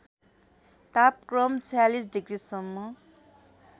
तापक्रम ४६ डिग्रिसम्म